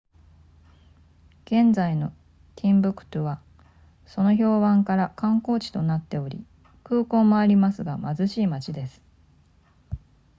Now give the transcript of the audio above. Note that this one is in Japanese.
現在のティンブクトゥはその評判から観光地となっており空港もありますが貧しい町です